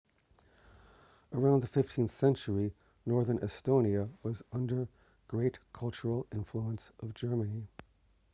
around the 15th century northern estonia was under great cultural influence of germany